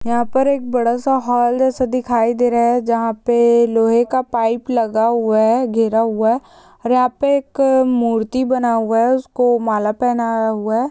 यहाँ पर एक बड़ा सा हॉल जैसा दिखाई दे रहा है जहाँ पे लोहे का पाइप लगा हुआ है। घेरा हुआ है और यहाँ पे एक मूर्ति बना हुआ है। उसको माला पहनाया हुआ है।